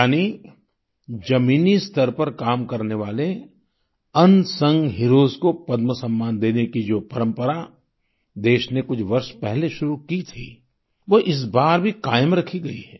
यानी जमीनी स्तर पर काम करने वाले अनसंग हीरोज को पद्म सम्मान देने की जो परंपरा देश ने कुछ वर्ष पहले शुरू की थी वो इस बार भी कायम रखी गई है